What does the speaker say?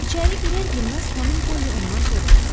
İçəri girər-girməz xanım Polly ondan soruşdu.